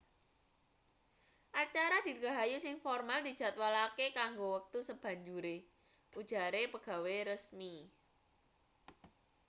acara dirgahayu sing formal dijadwalake kanggo wektu sabanjure ujare pegawe resmi